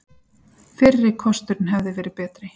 Fyrri kosturinn hefði verið betri.